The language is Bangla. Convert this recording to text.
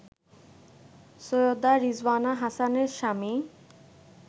সৈয়দা রিজওয়ানা হাসানের স্বামী